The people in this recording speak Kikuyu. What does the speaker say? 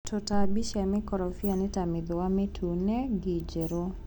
Tũtambi cia mĩkorobia nĩta mĩthũa mĩtune, ngi njerũ.